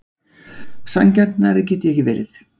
Sanngjarnari get ég ekki verið.